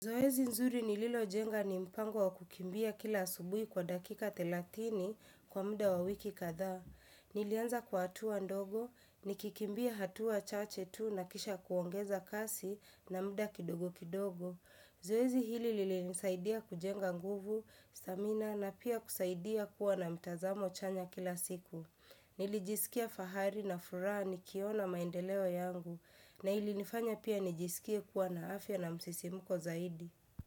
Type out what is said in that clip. Zoezi nzuri nililo jenga ni mpango wa kukimbia kila asubuhi kwa dakika thelathini kwa mda wa wiki kadhaa. Nilianza kwa hatua ndogo, nikikimbia hatua chache tu na kisha kuongeza kasi na mda kidogo kidogo. Zoezi hili lilinisaidia kujenga nguvu, stamina na pia kusaidia kuwa na mtazamo chanya kila siku. Nilijisikia fahari na furaha nikiona maendeleo yangu na ilinifanya pia nijisikie kuwa na afya na msisimuko zaidi.